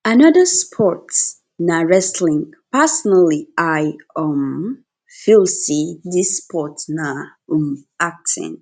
another sports na wrestling personally i um feel say this sports na um acting